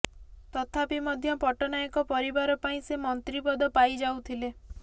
ତଥାପି ମଧ୍ୟ ପଟ୍ଟନାୟକ ପରିବାର ପାଇଁ ସେ ମନ୍ତ୍ରୀ ପଦ ପାଇ ଯାଉଥିଲେ